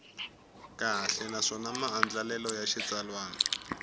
kahle naswona maandlalelo ya xitsalwana